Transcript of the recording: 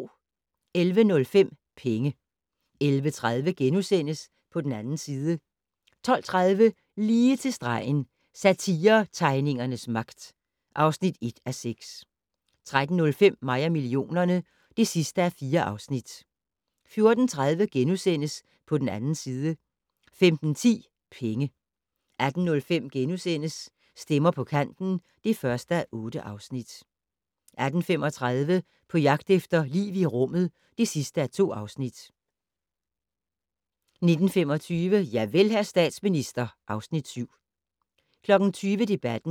11:05: Penge 11:30: På den 2. side * 12:30: Lige til stregen - Satiretegningernes magt (1:6) 13:05: Mig og millionerne (4:4) 14:30: På den 2. side * 15:10: Penge 18:05: Stemmer på kanten (1:8)* 18:35: På jagt efter liv i rummet (2:2) 19:25: Javel, hr. statsminister (Afs. 7) 20:00: Debatten